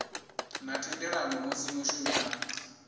na thendelano musi mushumi a